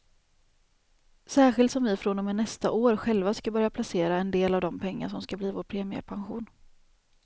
Särskilt som vi från och med nästa år själva ska börja placera en del av de pengar som ska bli vår premiepension.